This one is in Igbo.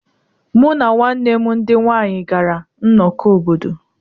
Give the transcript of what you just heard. Mụ na ụmụnne m ndị nwanyị gara nnọkọ obodo.